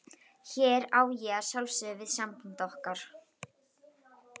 Hér á ég að sjálfsögðu við samband okkar.